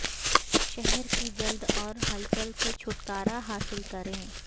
شہر کی جلد اور ہلچل سے چھٹکارا حاصل کریں